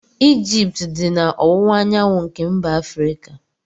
Egypt dị na ọwụwaanyanwụ nke mba Afrika.